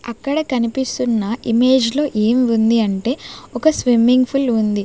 అక్కడ కనిపిస్తున్న ఇమేజ్ లో ఏం ఉంది అంటే ఒక స్విమ్మింగ్ ఫుల్ ఉంది.